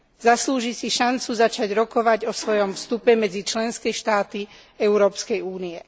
Zaslúži si šancu začať rokovať o svojom vstupe medzi členské štáty Európskej únie.